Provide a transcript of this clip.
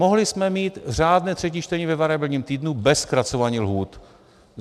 Mohli jsme mít řádné třetí čtení ve variabilním týdnu bez zkracování lhůt.